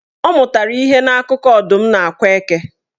Ọ amụtara ihe n'akụkọ Ọdụm na Akwa Eke.